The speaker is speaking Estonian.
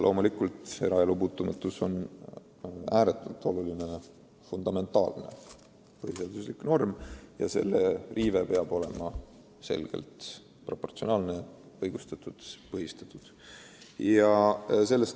Loomulikult, eraelu puutumatus on ääretult oluline, fundamentaalne põhiseaduslik norm ja selle riive peab olema selgelt proportsionaalne, õigustatud ja põhistatud.